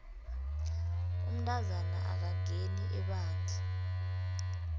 umntazana akangeni ebandla